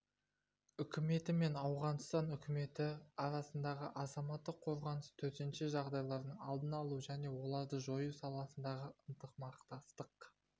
үкіметі мен ауғанстан үкіметі арасындағы азаматтық қорғаныс төтенше жағдайлардың алдын алу және оларды жою саласындағы ынтымақтастық